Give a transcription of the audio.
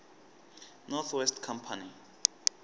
north west company